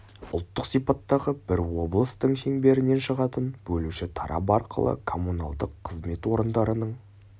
ұлттық сипаттағы бір облыстың шеңберінен шығатын бөлуші тарап арқылы коммуналдық қызмет орындарының